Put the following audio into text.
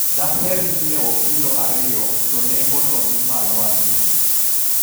daher nyiewo kilo ariyo to nengono ni malo ahinya